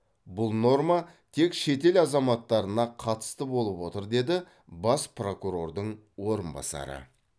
бұл норма тек шетел азаматтарына қатысты болып отыр деді бас прокурордың орынбасары